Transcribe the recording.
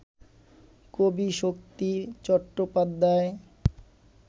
কবি শক্তি চট্টোপাধ্যায়